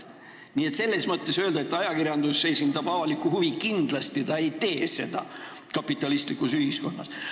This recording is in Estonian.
Nii et seda ei saa öelda, et ajakirjandus esindab avalikku huvi – kindlasti ta ei tee seda kapitalistlikus ühiskonnas.